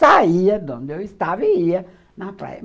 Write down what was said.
saía de onde eu estava e ia na praia.